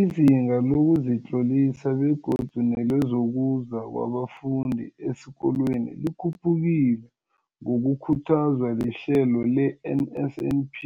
Izinga lokuzitlolisa begodu nelokuza kwabafundi esikolweni likhuphukile ngokukhuthazwa lihlelo le-NSNP.